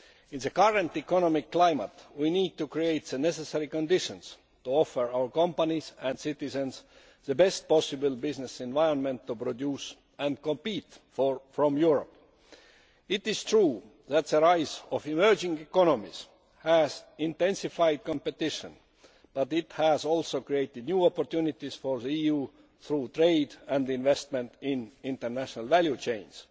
In the current economic climate we need to create the necessary conditions to offer our companies and citizens the best possible business environment to produce and to compete in Europe. It is true that the rise of emerging economies has intensified competition, but it has also created new opportunities for the EU through trade and investment in international value chains.